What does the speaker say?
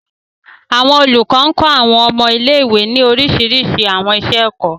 Àwọn olukọ kọ Àwọn ọmọ ile-iwe ni oriṣiriṣi àwọn iṣẹ-ẹkọ.